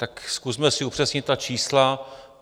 Tak zkusme si upřesnit ta čísla.